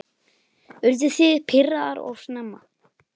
Urðu þið pirraðar of snemma?